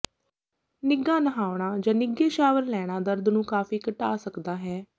ਨਿੱਘਾ ਨਹਾਉਣਾ ਜਾਂ ਨਿੱਘੇ ਸ਼ਾਵਰ ਲੈਣਾ ਦਰਦ ਨੂੰ ਕਾਫ਼ੀ ਘਟਾ ਸਕਦਾ ਹੈ